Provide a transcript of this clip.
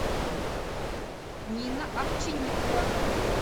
нина овчинникова